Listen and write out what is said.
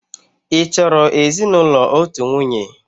Ị chọrọ ezinụlọ otu nwunye?